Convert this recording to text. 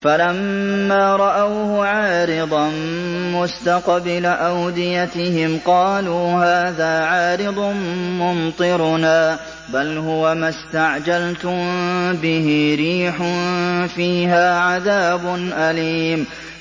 فَلَمَّا رَأَوْهُ عَارِضًا مُّسْتَقْبِلَ أَوْدِيَتِهِمْ قَالُوا هَٰذَا عَارِضٌ مُّمْطِرُنَا ۚ بَلْ هُوَ مَا اسْتَعْجَلْتُم بِهِ ۖ رِيحٌ فِيهَا عَذَابٌ أَلِيمٌ